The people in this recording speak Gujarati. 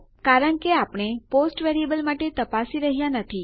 કારણ કે આપણે પોસ્ટ વેરીએબલ માટે તપાસી રહ્યાં નથી